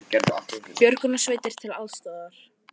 Björgunarsveitir til aðstoðar